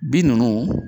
Bin ninnu